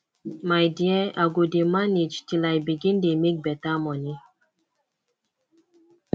my dear i go dey manage till i begin dey make beta moni